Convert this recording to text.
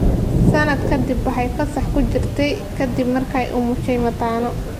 Sanad ka dib waxay fasax ku jirtay ka dib markii ay umushay mataano.